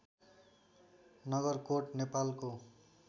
नगरकोट नेपालको